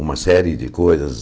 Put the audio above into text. uma série de coisas.